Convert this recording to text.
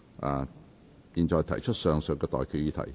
我現在向各位提出上述待決議題。